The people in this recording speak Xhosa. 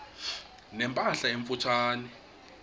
ne mpahla emfutshane